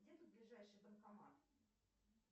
где тут ближайший банкомат